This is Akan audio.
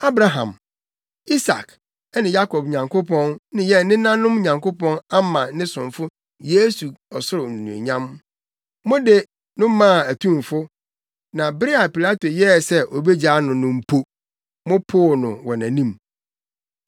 Abraham, Isak ne Yakob Nyankopɔn ne yɛn nenanom Nyankopɔn ama ne somfo Yesu ɔsoro anuonyam. Mode no maa atumfo; na bere a Pilato yɛɛ sɛ obegyaa no no mpo, mopoo no wɔ nʼanim.